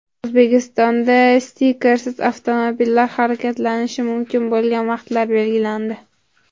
O‘zbekistonda stikersiz avtomobillar harakatlanishi mumkin bo‘lgan vaqtlar belgilandi.